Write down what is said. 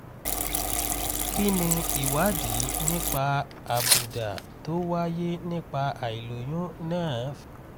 kí ni ìwádìí nípa àbùdá tó wáyé nípa àìlóyún náà fi hàn?